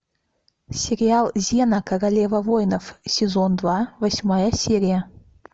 сериал зена королева войнов сезон два восьмая серия